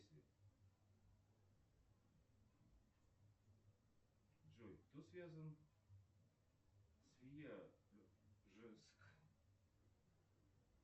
джой кто связан с